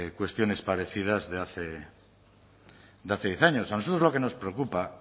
cuestiones parecidas de hace diez años a nosotros lo que nos preocupa